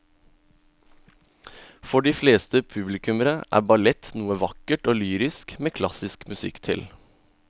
For de fleste publikummere er ballett noe vakkert og lyrisk med klassisk musikk til.